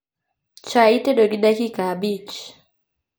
Chai itedo gi dakika abich